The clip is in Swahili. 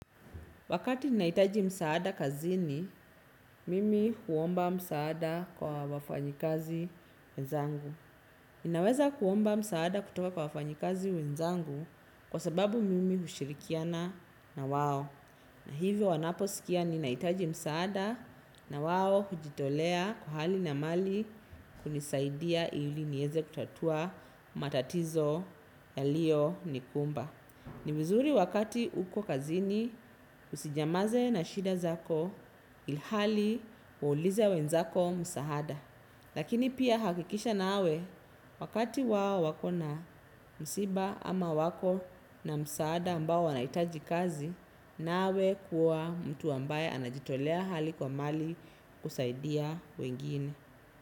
Wakati naitaji msaada kazini, mimi huomba msaada kwa wafanyikazi wenzangu. Ninaweza kuomba msaada kutoka kwa wafanyikazi wenzangu kwa sababu mimi hushirikiana na wao. Na hivyo wanaposikia ninaitaji msaada na wao hujitolea kwa hali na mali kunisaidia ili nieze kutatua matatizo yaliyonikumba. Ni vizuri wakati uko kazini usinymaze na shida zako ilhali waulize wenzako msahada. Lakini pia hakikisha nawe wakati wao wako na msiba ama wako na msahada ambao wanaitaji kazi nawe kuwa mtu ambaye anajitolea hali kwa mali kusaidia wengine.